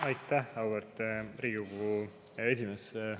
Aitäh, auväärt Riigikogu esimees!